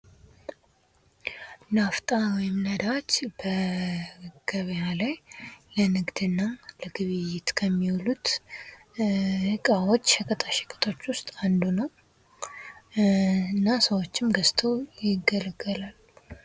ናፍጣ ወይም ነዳጅ በገበያ ላይ ለንግድና ለግብይት ከሚሉት ዕቃዎች ሸቀጣሽቀጦች ውስጥ አንዱ ነው ።እና ሰዎችም ገዝተው ይገለገላሉ።